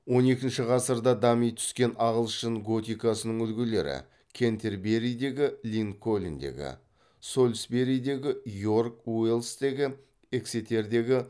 он екінші ғасырда дами түскен ағылшын готикасының үлгілері кентерберидегі линкольндегі солсберидегі йорк уэльстегі эксетердегі